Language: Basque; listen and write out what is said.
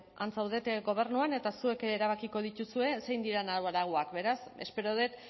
han zaudete gobernuan eta zuek erabakiko dituzue zein diren arauak beraz espero dut